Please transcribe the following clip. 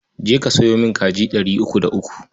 Je ka sayo min kaji ɗari uku da uku.